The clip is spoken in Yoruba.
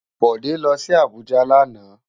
Bode lò si Abuja làná